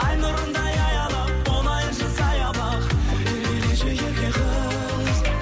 ай нұрындай аялап болайыншы саябақ еркелеші ерке қыз